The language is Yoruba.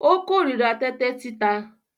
Ó kó ìríra tẹ́tẹ́ títa.